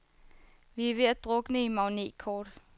Vi er ved at drukne i magnetkort.